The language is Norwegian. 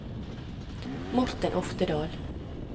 Morten Oftedal